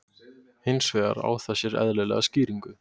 Hins vegar á það sér eðlilega skýringu.